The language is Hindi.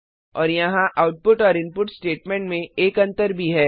और यहाँ आउटपुट और इनपुट स्टेटमेंट में एक अंतर भी है